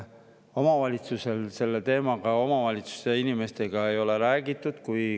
Omavalitsuste inimestega sellel teemal räägitud ei ole.